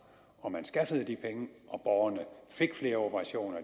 man skaffede de penge og borgerne fik flere operationer og